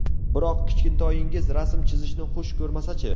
Biroq kichkintoyingiz rasm chizishni xush ko‘rmasa-chi?